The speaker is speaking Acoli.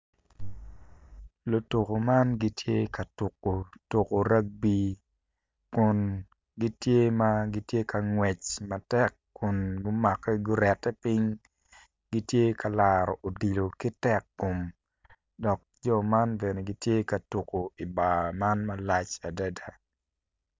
Lutuko man gitye ka tuko tuko ragby kun gitye ma gitye ka ngwec matek kun gumakke gurete piny gitye ka laro odilo ki tekkom dok jo man bene gitye ka tuko i bar man malac adada.